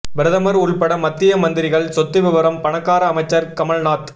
பிரதமர் உள்பட மத்திய மந்திரிகள் சொத்து விபரம் பணக்கார அமைச்சர் கமல்நாத்